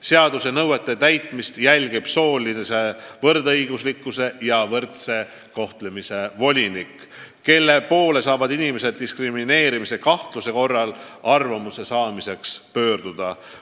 Seaduse nõuete täitmist jälgib soolise võrdõiguslikkuse ja võrdse kohtlemise volinik, kelle poole saavad inimesed diskrimineerimise kahtluse korral arvamuse saamiseks pöörduda.